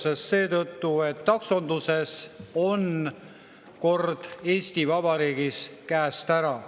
Seda seetõttu, et taksonduses on kord Eesti Vabariigis käest ära.